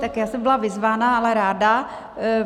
Tak já jsem byla vyzvána, ale ráda.